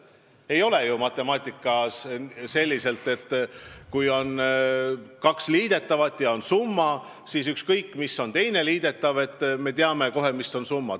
Ei ole ju matemaatikas nii, et kui on kaks liidetavat ja teada on üks neist, siis ükskõik, kui suur on teine liidetav, me teame kohe, mis on summa.